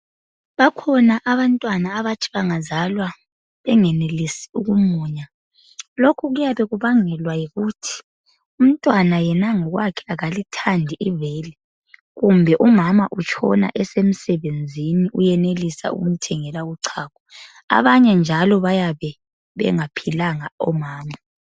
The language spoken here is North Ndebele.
Bakhona abantwana abathi bengazalwa bengelisi ukumunya. Lokhu kuyabe kubangelwa yikuthi umntwana yena ngokwakhe akalithandi ibele kumbe umama utshona esemsebenzini uyenelisa ukumthengela uchago. Abanye njalo bayabe bengaphilanga omama.